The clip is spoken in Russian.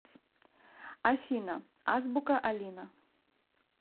афина азбука алина